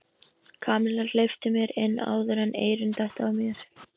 Kamilla, hleyptu mér inn áður en eyrun detta af mér